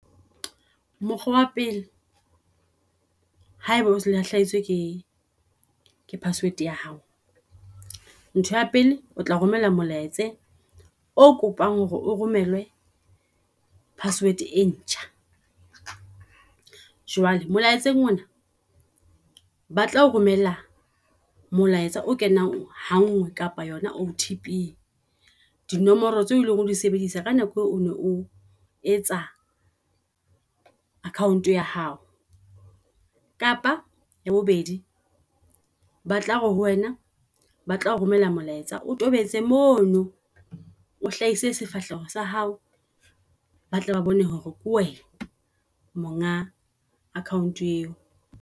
Mokgwa wa pele, haeba o lahlehetswe ke password ya hao, ntho ya pele o tla romella molaetsa o kopang hore o romele password e ntjha. Jwale molaetsa ona ba tlao romella molaetsa o kenang ha ngwe kapa yona O_T_P dinomoro tseo eleng hore di sebedisa ka nako eo o ne o etsang account ya hao. Kapa ya bobedi ba tla re ho wena ba tlao romella molaetsa o tobetse mono o hlahise sefahleho sa hao. Batle ba bone hore wena monga account eo.